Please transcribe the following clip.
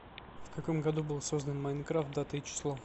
в каком году был создан майнкрафт дата и число